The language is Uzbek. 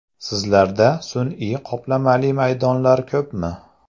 Sizlarda sun’iy qoplamali maydonlar ko‘pmi?